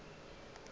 ya nama ya ba go